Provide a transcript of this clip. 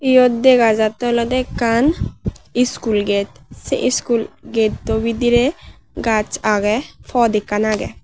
iyot dega jattey olodey ekkan iskul gate sei iskul getto bidirey gaaj agey pot ekkan agey.